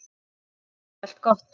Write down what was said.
Ég segi allt gott.